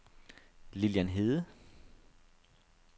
Lilian Hede